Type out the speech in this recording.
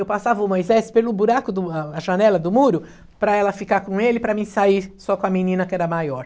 Eu passava o Moisés pelo buraco, do a a janela do muro, para ela ficar com ele, para mim sair só com a menina que era maior.